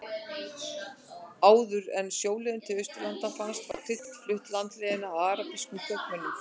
Áður en sjóleiðin til Austurlanda fannst var krydd flutt landleiðina af arabískum kaupmönnum.